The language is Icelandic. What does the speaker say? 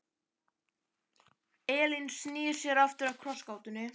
Elín snýr sér aftur að krossgátunni.